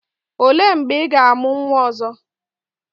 O lee mgbe ị ga-amụ nwa ọzọ?